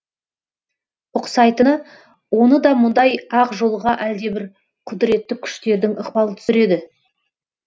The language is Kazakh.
ұқсайтыны оны да мұндай ақ жолға әлде бір құдіретті күштердің ықпалы түсіреді